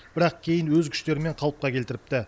бірақ кейін өз күштерімен қалыпқа келтіріпті